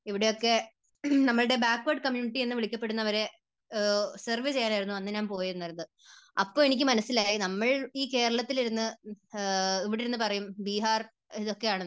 ഇവിടെയൊക്കെ നമ്മുടെ backward community എന്ന് വിളിക്കപ്പെടുന്നവരെ സെർവ് ചെയ്യാനായിരുന്നു അന്ന് ഞാൻ പോയിരുന്നത്. അപ്പോൾ എനിക്ക് മനസ്സിലായി നമ്മൾ ഈ കേരളത്തിൽ ഇരുന്ന്, ഇവിടെ ഇരുന്നു പറയും ബീഹാർ, ബീഹാർ ഒക്കെയാണ്